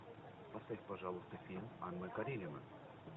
поставь пожалуйста фильм анна каренина